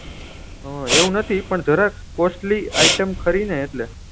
હા એવું નથી પણ જરાક costly item ખરી ને એટલે